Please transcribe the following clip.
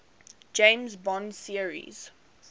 james bond series